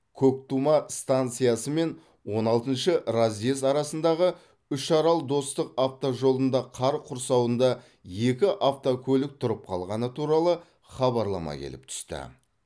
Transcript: көктұма станциясы мен он алтыншы разъезд арасындағы үшарал достық автожолында қар құрсауында екі автокөлік тұрып қалғаны туралы хабарлама келіп түсті